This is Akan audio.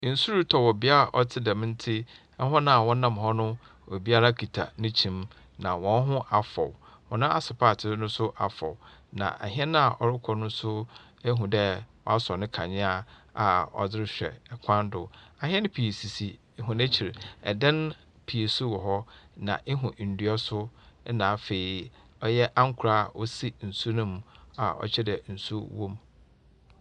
Nsu rotɔ wɔ bea a ɔte dɛm no ntsi hɔn a wɔnam hɔ no, obiara kita ne kyim na hɔn ho afɔw, hɔn asopaatsee no so afɔw. Na hɛn a ɔrokɔ no, ihu dɛ wɔasɔ ne kandzea a ɔdze rohwɛ kwan do. Ahɛn pii sisi hɔn ekyir, adan pii so wɔ hɔ, na ihu ndua so na ankora osi nsu no mu a ɔkyerɛ dɛ nsu wɔ mu.